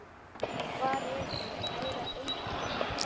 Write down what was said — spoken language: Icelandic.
Hvar er nú kæra Eygló?